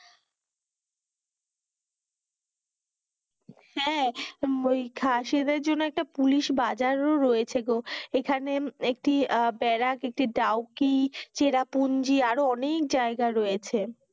হ্যা ওই খাসেরদের জন্য একটা পুলিশ বাজার ও রয়েছে গো, এখানে একটি বেরাক একটি ডাওকি চেরা পুঁজি আরও অনেক জায়গা রয়েছে,